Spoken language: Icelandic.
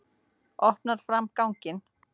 Opnar fram á ganginn.